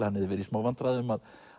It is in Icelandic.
hann hefði verið í smá vandræðum